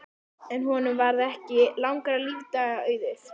En honum varð ekki langra lífdaga auðið.